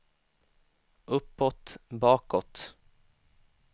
uppåt bakåt